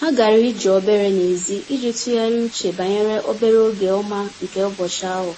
Ha gara ije obere n’èzí iji tụgharịa uche banyere obere oge ọma nke ụbọchị ahụ.